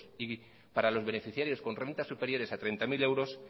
y para los beneficiarios con rentas superiores a treinta mil euros